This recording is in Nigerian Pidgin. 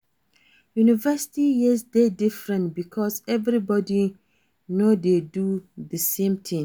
University years de different because everybody no de do the same thing